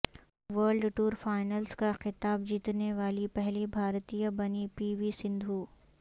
world tour finals کا خطاب جیتنے والی پہلی بھارتیہ بنی پی وی سندھو